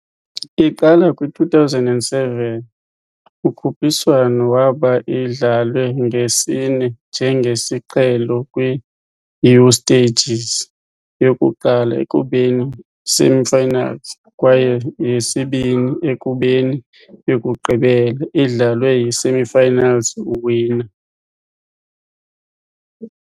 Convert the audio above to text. Iqala kwi-2007, ukhuphiswano waba idlalwe nge sine njengesiqhelo kwi-u-stages, yokuqala ekubeni semifinals, kwaye yesibini ekubeni yokugqibela, idlalwe yi-semifinals winners.